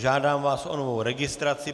Žádám vás o novou registraci.